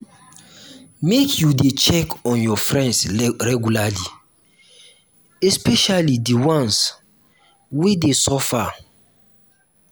make you dey check on your friends regularly especially di ones wey dey suffer.